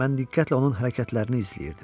Mən diqqətlə onun hərəkətlərini izləyirdim.